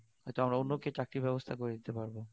এতে আমরা অন্যকে চাকরির ব্যবস্থা করে দিতে পারব